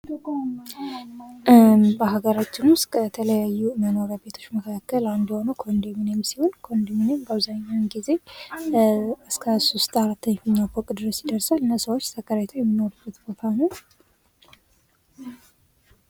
በሀገራችን ውስጥ የተለያዩ መኖሪያ ቤቶች መካከል አንዱ የሆነው ኮንዶሚኒየም ሲሆን ኮንዶሚኒየም አብዛኛውን ጊዜ እስከ 3 4ኛ ፎቅ ድረስ ይደርሳል እና ሰዎች ተከራይተው የሚኖሩበት ቦታ ነው።